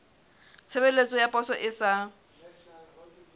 tshebeletso ya poso e sa